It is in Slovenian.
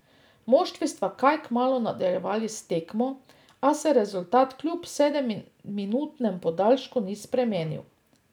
Moštvi sta kaj kmalu nadaljevali s tekmo, a se rezultat kljub sedemminutnem podaljšku ni spremenil.